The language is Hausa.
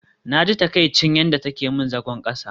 Naji takaicin yadda take min zagon kasa